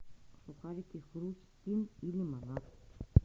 сухарики хрустим и лимонад